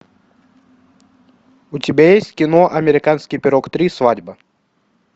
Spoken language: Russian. у тебя есть кино американский пирог три свадьба